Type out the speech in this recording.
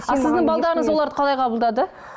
ал сіздің балаларыңыз оларды қалай қабылдады